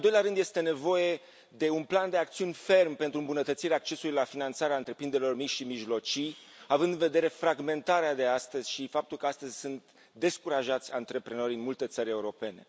În al doilea rând, este nevoie de un plan de acțiuni ferm pentru îmbunătățirea accesului la finanțare al întreprinderilor mici și mijlocii, având în vedere fragmentarea de astăzi și faptul că astăzi antreprenorii sunt descurajați în multe țări europene.